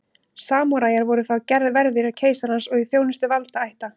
samúræjar voru þá verðir keisarans og í þjónustu valdaætta